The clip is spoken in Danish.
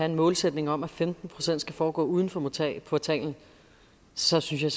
en målsætning om at femten procent skal foregå uden for portalen portalen så synes jeg